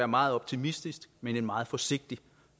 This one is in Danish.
meget optimistisk men en meget forsigtig